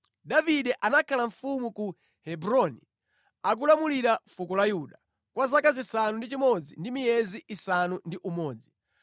Davide anakhala mfumu ku Hebroni akulamulira fuko la Yuda, kwa zaka zisanu ndi chimodzi ndi miyezi isanu ndi umodzi.